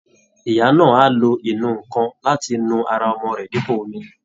Ìyá náà á lo ìnù-ǹkan láti nu ara ọmọ rẹ̀ dípò omi